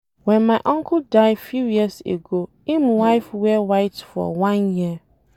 Wen my uncle die few years ago im wife wear white for one year